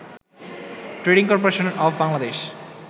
trading corporation of Bangladesh